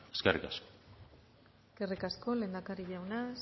eskerrik asko eskerrik asko lehendakari jauna